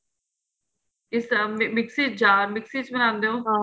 ਇਸ ਤ੍ਹਰਾਂ ਮਿਕਸੀ ਜਾਂ ਮਿਕਸੀ ਵਿੱਚ ਬਣਾਦੇ ਹੋ